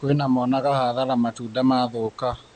Kwĩna monaga hathara matunda mathũka.